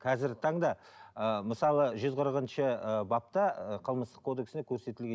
қазіргі таңда ыыы мысалы жүз қырықыншы ы бапта ы қылмыстық кодексінде көрсетілген